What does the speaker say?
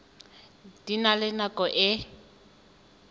di na le nako e